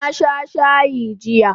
Na sha shayi jiya